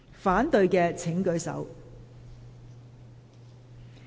反對的請舉手。